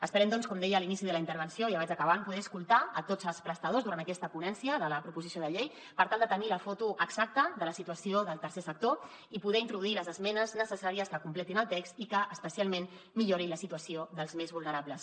esperem doncs com deia a l’inici de la intervenció ja vaig acabant poder escoltar tots els prestadors durant aquesta ponència de la proposició de llei per tal de tenir la foto exacta de la situació del tercer sector i poder introduir les esmenes necessàries que completin el text i que especialment millorin la situació dels més vulnerables